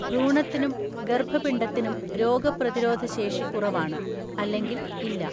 ഭ്രൂണത്തിനും ഗർഭപിണ്ഡത്തിനും രോഗപ്രതിരോധ ശേഷി കുറവാണ്, അല്ലെങ്കിൽ ഇല്ല.